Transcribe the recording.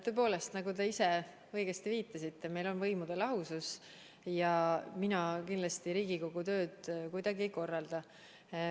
Tõepoolest, nagu te ise õigesti viitasite, meil on võimude lahusus ja mina kindlasti Riigikogu tööd kuidagi ei korralda.